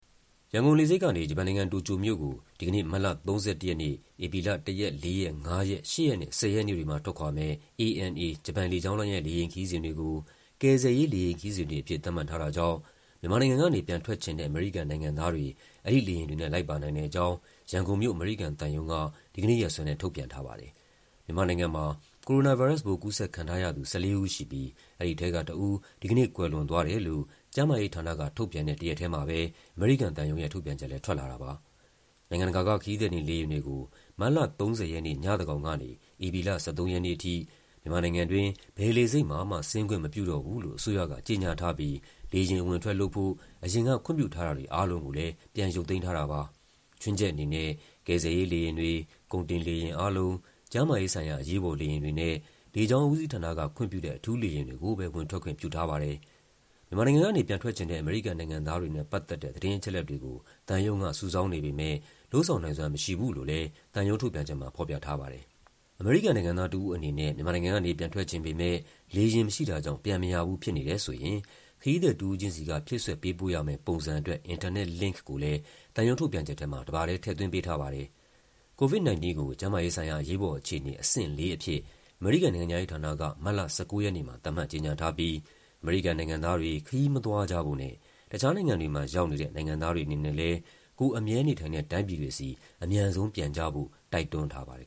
ရန်ကုန်လေဆိပ်ကနေ ဂျပန်နိုင်ငံ၊ တိုကျိုမြို့ကို ဒီကနေ့ မတ်လ ၃၁ ရက်နေ့၊ ဧပြီလ ၁ ရက်၊ ၄ ရက်၊ ၅ ရက်၊ ၈ ရက် နဲ့ ၁၀ ရက်နေ့တွေမှာ ထွက်ခွာမယ့် ANA ဂျပန်လေကြောင်းလိုင်းရဲ့ လေယာဉ်ခရီးစဉ်တွေကို ကယ်ဆယ်ရေး လေယာဉ်ခရီးစဉ်တွေအဖြစ် သတ်မှတ်ထားတာကြောင့် မြန်မာနိုင်ငံကနေ ပြန်ထွက်ချင်တဲ့ အမေရိကန်နိုင်ငံသားတွေ အဲဒီလေယာဉ်တွေနဲ့ လိုက်ပါနိုင်တဲ့အကြောင်း ရန်ကုန်မြို့၊ အမေရိကန်သံရုံး က ဒီကနေ့ရက်စွဲနဲ့ ထုတ်ပြန်ထားပါတယ်။ မြန်မာနိုင်ငံမှာ ကိုရိုနာဗိုင်းရပ်စ်ပိုး ကူးစက်ခံထားရသူ ၁၄ ဦး ရှိပြီး အဲဒီထဲက တဦး ဒီကနေ့ ကွယ်လွန်သွားတယ်လို့ ကျန်းမာရေးဌာနက ထုတ်ပြန်တဲ့ တရက်ထဲမှာပဲ အမေရိကန်သံရုံးရဲ့ ထုတ်ပြန်ချက်လည်း ထွက်လာတာပါ။ နိုင်ငံတကာက ခရီးသည်တင်လေယာဉ်တွေကို မတ်လ ၃၀ ရက်နေ့ ညသန်းခေါင်ကနေ ဧပြီလ ၁၃ ရက်နေ့ အထိ မြန်မာနိုင်ငံတွင်း ဘယ်လေဆိပ်မှာမှ ဆင်းခွင့်မပြုတော့ဘူးလို့ အစိုးရက ကြေညာထားပြီး လေယာဉ် အဝင်အထွက်လုပ်ဖို့ အရင်က ခွင့်ပြုထားတာတွေအားလုံးကိုလည်း ပြန်ရုပ်သိမ်းထားတာပါ။ ခြွင်းချက်အနေနဲ့ ကယ်ဆယ်ရေးလေယာဉ်တွေ၊ ကုန်တင်လေယာဉ်အားလုံး၊ ကျန်းမာရေးဆိုင်ရာ အရေးပေါ်လေယာဉ်တွေနဲ့ လေကြောင်းဦးစီးဌာနက ခွင့်ပြုတဲ့ အထူးလေယာဉ်တွေကိုပဲ ဝင်ထွက်ခွင့်ပြုထားပါတယ်။ မြန်မာနိုင်ငံကနေ ပြန်ထွက်ချင်တဲ့ အမေရိကန်နိုင်ငံသားတွေနဲ့ ပတ်သက်တဲ့ သတင်းအချက်အလက်တွေကို သံရုံးက စုဆောင်းနေပေမဲ့ လုပ်ဆောင်နိုင်စွမ်း မရှိဘူးလို့လည်း သံရုံးထုတ်ပြန်ချက်မှာ ဖော်ပြထားပါတယ်။ အမေရိကန်နိုင်ငံသား တဦးအနေနဲ့ မြန်မာနိုင်ငံကနေ ပြန်ထွက်ချင်ပေမဲ့ လေယာဉ်မရှိတာကြောင့် ပြန်မရဘူး ဖြစ်နေတယ်ဆိုရင် ခရီးသည် တဦးချင်းစီက ဖြည့်စွက်ပေးပို့ရမယ့်ပုံစံအတွက် အင်တာနက်လင့်ခ်ကိုလည်း သံရုံးထုတ်ပြန်ချက်ထဲမှာ တပါထဲ ထည့်သွင်းပေးထားပါတယ်။ COVID-19 ကို ကျန်းမာရေးဆိုင်ရာ အရေးပေါ်အခြေအနေ အဆင့် ၄ အဖြစ် အမေရိကန်နိုင်ငံခြားရေးဌာနက မတ်လ ၁၉ ရက်နေ့မှာ သတ်မှတ်ကြေညာထားပြီး အမေရိကန်နိုင်ငံသားတွေ ခရီးမသွားကြဖို့နဲ့ တခြားနိုင်ငံတွေမှာ ရောက်နေတဲ့ နိုင်ငံသားတွေအနေနဲ့လည်း ကိုယ်အမြဲနေထိုင်တဲ့ တိုင်းပြည်တွေဆီ အမြန်ဆုံးပြန်ကြဖို့ တိုက်တွန်းထားပါတယ်